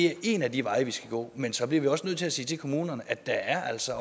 er en af de veje vi skal gå men så bliver vi også nødt til sige til kommunerne at der altså